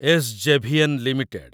SJVN limited